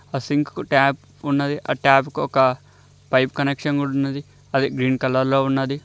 అ sink కు tap ఉన్నది ఆ టాప్ కు ఒక పైప్ కనెక్షన్ కూడా ఉన్నది అది గ్రీన్ కలర్ లో ఉన్నది.